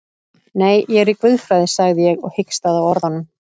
Nei, ég er í guðfræði, sagði ég og hikstaði á orðunum.